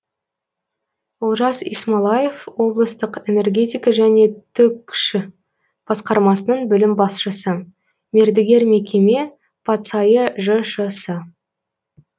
олжас исмалаев облыстық энергетика және түкш басқармасының бөлім басшысы мердігер мекеме патсайы жшс